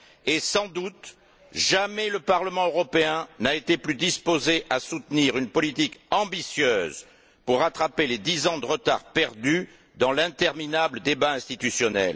Et sans doute, jamais le Parlement européen n'a été plus disposé à soutenir une politique ambitieuse pour rattraper les dix ans de retard perdus dans l'interminable débat institutionnel.